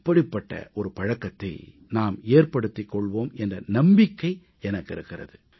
இப்படிப்பட்ட நல்ல பழக்கத்தை நாம் ஏற்படுத்திக் கொள்வோம் என்ற நம்பிக்கை எனக்கு இருக்கிறது